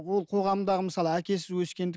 ол қоғамдағы мысалы әкесіз өскендік